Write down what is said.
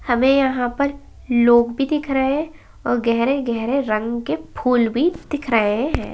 हमें यहाँ पर लोग भी दिख रहे हैं और गहरे-गहरे रंग के फूल भी दिख रहे हैं।